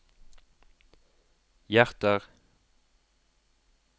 hjerter